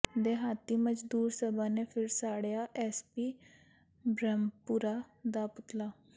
ਦਿਹਾਤੀ ਮਜ਼ਦੂਰ ਸਭਾ ਨੇ ਫਿਰ ਸਾੜਿਆ ਐਮਪੀ ਬ੍ਰਹਮਪੁਰਾ ਦਾ ਪੁਤਲਾ